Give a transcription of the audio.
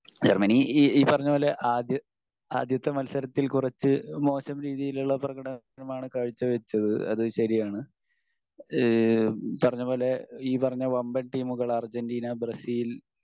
Germany ഈ ഈ പറഞ്ഞപോലെ ആദ്യ ആദ്യത്തെ മത്സരത്തിൽ കുറച്ച് മോശം രീതിയിലുള്ള പ്രകടനമാണ് കാഴ്ചവെച്ചത് അത് ശെരിയാണ്. ഈഹ് പറഞ്ഞപോലെ ഈ പറഞ്ഞ വമ്പൻ ടീമുകൾ അർജെൻറ്റീന, ബ്രസീൽ